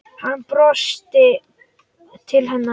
Hann brosir til hennar.